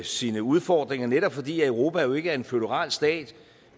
sine udfordringer netop fordi europa jo ikke er en føderal stat